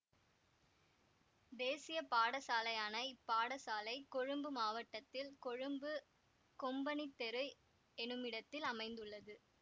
தேசிய பாடசாலையான இப் பாடசாலை கொழும்பு மாவட்டத்தில் கொழும்பு கொம்பனித்தெரு எனுமிடத்தில் அமைந்துள்ளது